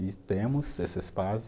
E temos esse espaço.